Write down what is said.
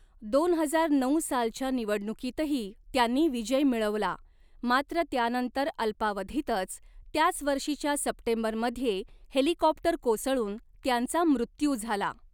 दोन हजार नऊ सालच्या निवडणुकीतही त्यांनी विजय मिळवला, मात्र त्यानंतर अल्पावधीतच, त्याच वर्षीच्या सप्टेंबरमध्ये हेलिकॉप्टर कोसळून त्यांचा मृत्यू झाला.